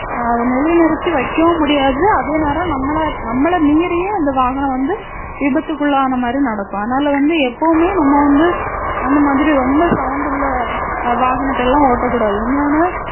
அஹ் நிலை நிறுத்தி வைக்கவும் முடியாது அதே நேரம் நம்மள நம்மள மீறியே அந்த வாகனம் வந்து விபத்துக்குள்ளான மாதிரி நடக்கும் அதனால வந்து எப்பவுமே நம்ம வந்து அந்த மாதிரி ரொம்ப sound உள்ள வாகனத்தை எல்லாம் ஓட்டக்கூடாது இன்னொன்னு